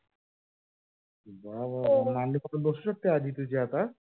वा वा वा मांडी घालून बसू शकते तुझी आजी आता?